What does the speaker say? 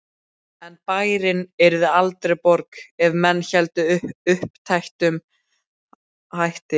En bærinn yrði aldrei borg ef menn héldu uppteknum hætti.